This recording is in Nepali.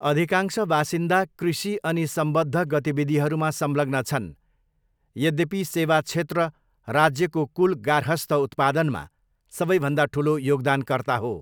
अधिकांश बासिन्दा कृषि अनि सम्बद्ध गतिविधिहरूमा संलग्न छन्, यद्यपि सेवा क्षेत्र राज्यको कुल गार्हस्थ उत्पादनमा सबैभन्दा ठुलो योगदानकर्ता हो।